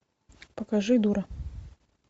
покажи дура